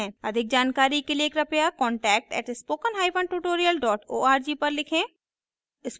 अधिक जानकारी के लिए कृपया contact @spokentutorial org पर लिखें